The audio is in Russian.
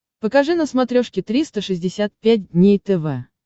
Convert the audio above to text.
покажи на смотрешке триста шестьдесят пять дней тв